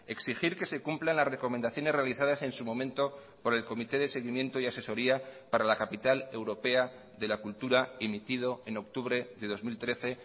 exigir que se cumplan las recomendaciones realizadas en su momento por el comité de seguimiento y asesoría para la capital europea de la cultura emitido en octubre de dos mil trece